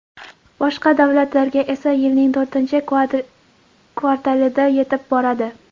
Boshqa davlatlarga esa yilning to‘rtinchi kvartalida yetib boradi.